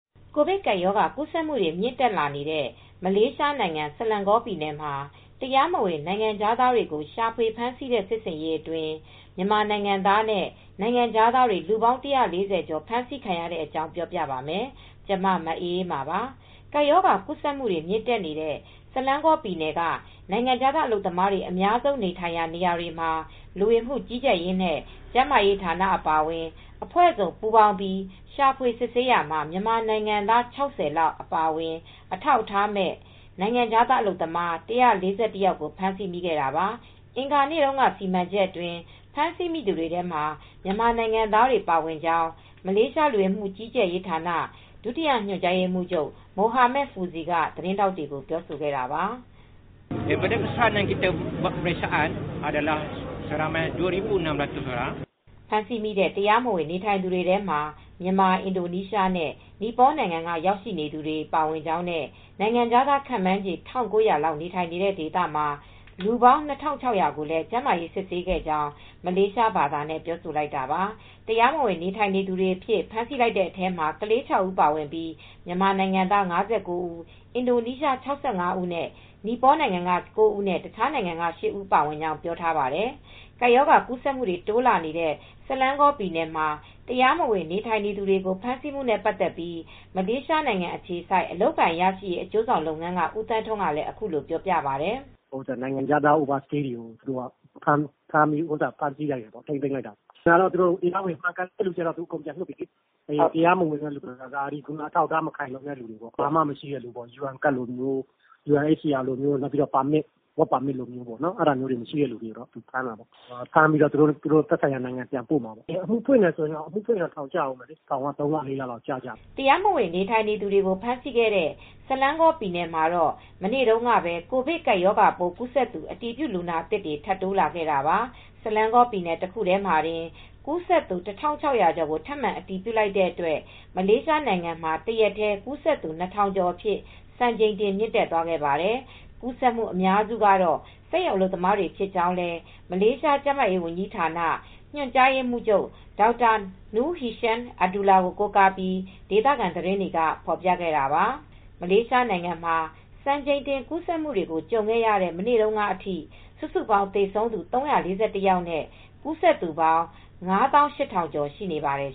ကိုဗစ်ကပ်ရောဂါ ကူးစက်မှုတွေ မြင့်တက်လာနေတဲ့ မလေးရှားနိုင်ငံ ဆလန်ဂေါပြည်နယ်မှာ တရားမဝင် နိုင်ငံခြားသားတွေကို ရှာဖွေဖမ်းဆီးတဲ့ စစ်ဆင်ရေးအတွင်း မြန်မာနိုင်ငံသားနဲ့ နိုင်ငံခြားသားတွေ စုစုပေါင်း ၁၄၀ ကျော် ဖမ်းဆီးခံခဲ့ရတဲ့အကြောင်း ပြောပြပါမယ်။ ဗွီအိုအေမြန်မာပိုင်း သတင်းထောက် မအေးအေးမာက သတင်းပေးပို့ပေးထားပါတယ်။ ကပ်ရောဂါကူးစက်မှုတွေ မြင့်တက်နေတဲ့ ဆလန်ဂေါပြည်နယ်က နိုင်ငံခြားသား အလုပ်သမားတွေ အများဆုံးနေထိုင်ရာတွေမှာ လူဝင်မှုကြီးကြပ်ရေးနဲ့ ကျန်းမာရေးဌာန အပါအဝင် အဖွဲ့ပေါင်းစုံ ပူးပေါင်းပြီး ရှာဖွေစစ်ဆေးရာမှာ မြန်မာနိုင်ငံသား ၆၀ လောက် အပါအဝင် အထောက်အထားမဲ့ နိုင်ငံခြားသား အလုပ်သမား ၁၄၁ ယောက်ကို ဖမ်းဆီးမိခဲ့တာပါ။ အင်္ဂါနေ့တုန်းက စီမံချက်အတွင်း ဖမ်းဆီးမိသူတွေထဲမှာ မြန်မာနိုင်ငံသားတွေလည်း ပါဝင်ကြောင်း မလေးရှား လူဝင်မှုကြီးကြပ်ရေးဌာန ဒုတိယညွှန်ကြားရေးမှူးချုပ် Mohamad Fauzi ကသတင်းထောက်တွေကို ပြောခဲ့တာပါ။ "ဖမ်းဆီးမိတဲ့ တရားမဝင်နေထိုင်သူတွေထဲမှာ မြန်မာ၊ အင်ဒိုနီးရှားနဲ့ နီပေါနိုင်ငံက ရောက်ရှိနေသူတွေ ပါဝင်ကြောင်းနဲ့ နိုင်ငံခြားသား ခန့်မှန်းခြေ ၁,၉၀၀ လောက် နေထိုင်နေတဲ့ ဒေသမှာ လူပေါင်း ၂,၆၀၀ ကိုလည်း ကျန်းမာရေးစစ်ဆေးခဲ့ကြောင်း" မလေးရှားဘာသာနဲ့ ပြောဆိုလိုက်တာပါ။ တရားမဝင်နေထိုင်သူတွေအဖြစ် ဖမ်းဆီးလိုက်တဲ့အထဲမှာတော့ ကလေး ၆ ဦး ပါဝင်ခဲ့ပြီး မြန်မာနိုင်ငံသား ၅၉ ဦး၊ အင်ဒိုနီးရှား ၆၅ ဦး၊ နီပေါနိုင်ငံက ၉ ဦးနဲ့ တခြားနိုင်ငံတွေက ၈ ဦး ပါဝင်ကြောင်းလည်း ပြောပါတယ်။ ကပ်ရောဂါကူးစက်မှုတွေ တိုးလာနေတဲ့ ဆလန်ဂေါပြည်နယ်မှာ တရားမဝင် နေထိုင်သူတွေကို ဖမ်းဆီးမှုနဲ့ ပတ်သက်လို့ မလေးရှားနိုင်ငံအခြေစိုက် အလုပ်အကိုင်ရရှိရေး အကျိုးဆောင်လုပ်ငန်းက ဦးသန်းထွန်းကလည်း အခုလိုပြောပြပါတယ်။ "တရားမဝင်နိုင်ငံခြားသားတွေကို ဖမ်းဆီးလိုက်တာပေါ့၊ ထိန်းသိမ်းလိုက်တာပေါ့၊ တရားဝင်ဆိုရင်တော့ အကုန် ပြန်လွှတ်ပေးတယ်။ တရားမဝင်လူတွေ အထောက်အထား မခိုင်လုံတဲ့ လူတွေ၊ ဘာမှမရှိတဲ့လူ၊ ယူအန်ကဒ်လိုမျိုး၊ work permit လိုမျိုးမရှိတဲ့သူတွေကို ဖမ်းတာပါ။ ဖမ်းပြီးတော့ သက်ဆိုင်ရာနိုင်ငံပြန်ပို့မှာပဲ။ အမှုဖွင့်ရင်တော့ ထောင်က သုံးလ၊ လေးလတော့ ကျကြမယ်။" တရားမဝင် နေထိုင်သူတွေကို ဖမ်းဆီးခဲ့တဲ့ ဆလန်ဂေါပြည်နယ်မှာတော့ မနေ့တုန်းကပဲ ကိုဗစ်ရောဂါပိုး ကူးစက်သူ အတည်ပြုလူနာသစ်တွေ ထပ်တိုးလာခဲ့တာပါ။ ဆလန်ဂေါပြည်နယ် တခုတည်းမှာတင် ကူးစက်သူ ၁,၆၀၀ ကျော်ကို ထပ်မံအတည်ပြုလိုက်တဲ့အတွက် မလေးရှားနိုင်ငံမှာ တရက်တည်း ကူးစက်သူ ၂,၀၀၀ ကျော်အဖြစ် စံချိန်တင် မြင့်တက်သွားခဲ့ပါတယ်။ ကူးစက်မှု အများစုကတော့ စက်ရုံအလုပ်သမားတွေ ဖြစ်ကြောင်းလည်း မလေးရှား ကျန်းမာရေးဝန်ကြီးဌာန ညွှန်ကြားရေးမှူးချုပ် Dr Noor Hisham Abdullah ကို ကိုးကားပြီး ဒေသခံသတင်းတွေက ဖော်ပြခဲ့တာပါ။ မလေးရှားနိုင်ငံမှာ စံချိန်တင်ကူးစက်မှုတွေ ကြုံခဲ့ရတဲ့ မနေ့တုန်းကအထိ စုစုပေါင်း သေဆုံးသူ ၃၄၁ ယောက်နဲ့ ကူးစက်သူပေါင်း ၅၈,၀၀၀ ကျော် ရှိနေပါတယ်